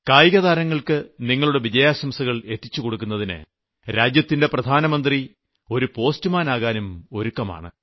കായികതാരങ്ങൾക്ക് നിങ്ങളുടെ വിജയാശംസകൾ എത്തിച്ചുകൊടുക്കുന്നതിന് രാജ്യത്തിന്റെ പ്രധാനമന്ത്രി ഒരു പോസ്റ്റുമാനാകാനും ഒരുക്കമാണ്